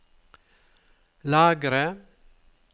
lagre